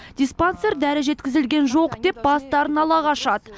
диспансер дәрі жеткізілген жоқ деп бастарын ала қашады